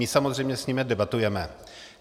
My samozřejmě s nimi debatujeme.